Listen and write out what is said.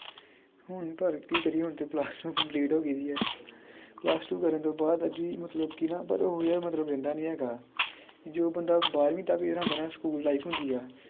ਹੁਣ ਪਰ ਕੀ ਕਰੀਏ ਹੁਣ ਤੇ plus two complete ਹੋਗੀ ਦੀ ਆ plus two ਕਰਨ ਤੋਂ ਬਾਅਦ ਅੱਜ ਵੀ ਮਤਲਬ ਕਿ ਨਾ ਓਰ ਓਹੀ ਆ ਮਤਲਬ ਰਹਿੰਦਾ ਨੀ ਹੈਗਾ ਜੋ ਬੰਦਾ ਬਾਰ੍ਹਵੀਂ ਤਕ ਜਿਹੜਾ ਹੁੰਦਾ ਨਾ ਸਕੂਲ life ਹੁੰਦੀ ਆ